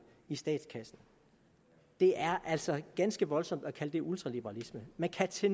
i statskassen det er altså ganske voldsomt at kalde det ultraliberalisme man kan til